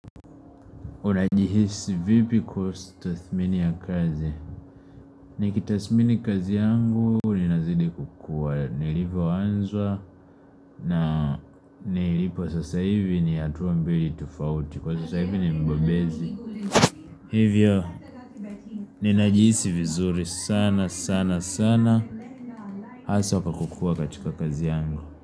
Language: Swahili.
Unajihisi vipi kustathmini ya kazi Nikitasmini kazi yangu Ninazidi kukua nilipo wanzwa. Na nilipo sasa hivi ni hatuwa mbili tufauti Kwa sasa hivi ni mbobezi hivyo. Ninajihisi vizuri sana sana sana Asa wakakukua katika kazi yangu.